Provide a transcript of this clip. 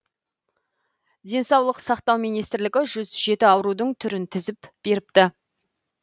денсаулық сақтау министрлігі үш жүз жеті аурудың түрін тізіп беріпті